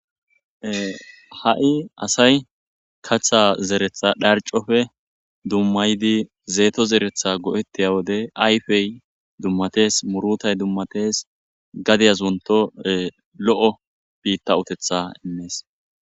Ha'i asay katha zeretha dharcofe dummaydi zeeto zeretha go'ettiya wode ayfey dummatees murutay dummatees gadiyazunto lo'o biitta utetha innees.